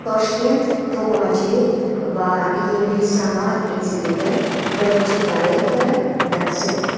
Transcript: Toshkent to‘qimachilik va yengil sanoat instituti birinchi prorektori, dotsent;.